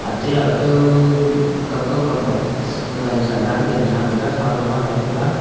te kaw kam kam kaw kama gaari sa lah .